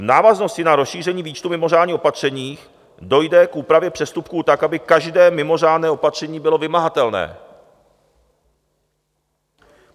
V návaznosti na rozšíření výčtu mimořádných opatření dojde k úpravě přestupků tak, aby každé mimořádné opatření bylo vymahatelné.